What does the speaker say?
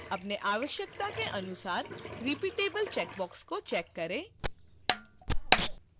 अपनी आवश्यकता के अनुसार repeatable: चेकबॉक्स को check करें